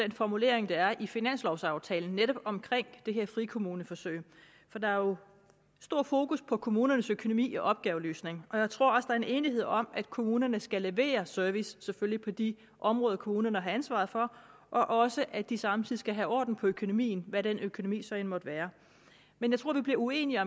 den formulering der er i finanslovaftalen netop omkring det her frikommuneforsøg der er jo stor fokus på kommunernes økonomi og opgaveløsning og jeg tror der er en enighed om at kommunerne skal levere service på selvfølgelig de områder kommunerne har ansvaret for og også at de samtidig skal have orden på økonomien hvad den økonomi så end måtte være men jeg tror vi bliver uenige